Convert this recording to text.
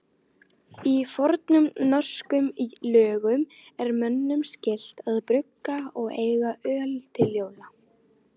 Í fornum norskum lögum er mönnum skylt að brugga og eiga öl til jóla.